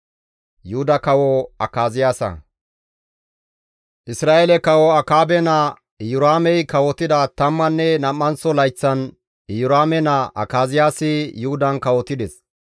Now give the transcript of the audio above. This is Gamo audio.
Isra7eele kawo Akaabe naa Iyoraamey kawotida tammanne nam7anththo layththan Iyoraame naa Akaziyaasi Yuhudan kawotides.